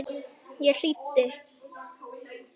Ég hlýddi.